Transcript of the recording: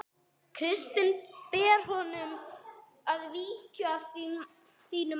Kristinn: Ber honum að víkja að þínu mati?